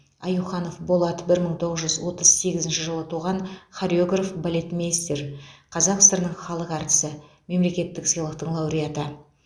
аюханов болат бір мың тоғыз жүз отыз сегізінші жылы туған хореограф балетмейстер қазақ сср інің және халық әртісі мемлекеттік сыйлықтың лауреаты